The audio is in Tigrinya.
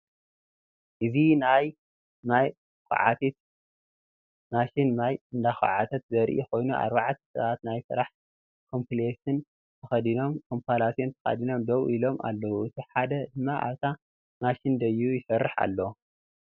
እዚ ናይ ማይ ኳዓቲት ማሽን ማይ እንዳኳዓተት ዘርኢ ኮይኑ አርባዕተ ሰባት ናይ ስራሕ ኮምፕላሴን ተከደኖም ደው ኢሎም አለዉ እቲ ሓደ ድማ አብታ ማሽን ደይቡ ይሰርሕ አሎ፡፡